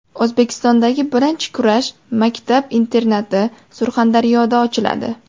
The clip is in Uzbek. O‘zbekistondagi birinchi kurash maktab-internati Surxondaryoda ochiladi.